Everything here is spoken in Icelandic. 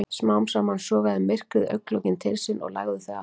Smám saman sogaði myrkrið augnlokin til sín og lagði þau aftur.